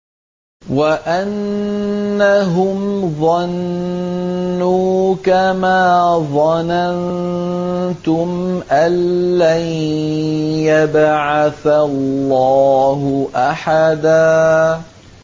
وَأَنَّهُمْ ظَنُّوا كَمَا ظَنَنتُمْ أَن لَّن يَبْعَثَ اللَّهُ أَحَدًا